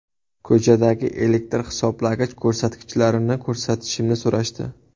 Ko‘chadagi elektr hisoblagich ko‘rsatkichlarini ko‘rsatishimni so‘rashdi.